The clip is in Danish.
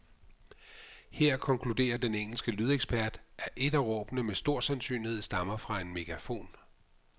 Her konkluderer den engelske lydekspert, at et af råbene med stor sandsynlighed stammer fra en megafon.